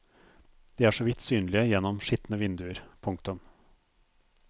De er så vidt synlige gjennom skitne vinduer. punktum